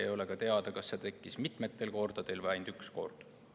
Ei ole ka teada, kas see tekkis mitmetel kordadel või ainult üks kord.